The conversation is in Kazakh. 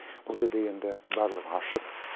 бұл жерде енді барлығы ашық